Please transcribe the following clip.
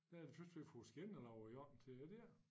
Jeg synes vi har fået skinner lavet om til det dér